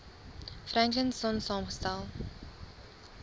franklin sonn saamgestel